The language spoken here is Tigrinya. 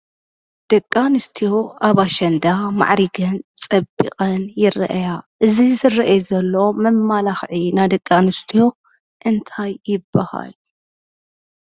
ደቂ ኣንስትዮ ኣብ ኣሸንዳ ማዓሪገን፣ ፀቢቐን ይራኣያ። እዚ ዝረአ ዘሎ መማላኽዒ ናይ ደቂ ኣንስትዮ እንታይ ይባሃል?